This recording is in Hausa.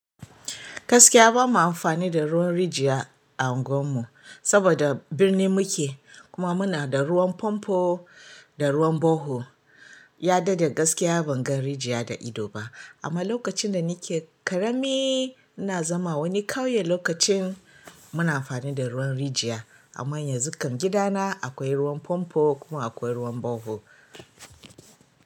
Gaskiya bamu amfani da ruwan rijiya a unguwar mu saboda birni muke kuma muna da ruwan fomfo da ruwan borehol. Ya daɗe gaskiya ban ga rijiya da ido ba. Amma lokacin da nike ƙarami ina zama a wani ƙauye lokacin muna amfani da ruwan rijiya. Amma yanzu kam gidana akwai ruwan fomfo kuma akwai ruwan borehol.